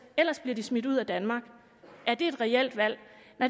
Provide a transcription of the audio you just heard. ellers bliver de smidt ud af danmark er det et reelt valg